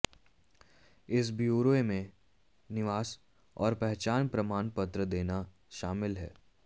इस ब्योरे में निवास और पहचान प्रमाणपत्र देना शामिल है